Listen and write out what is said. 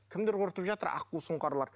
кімдер құртып жатыр аққу сұңқарлар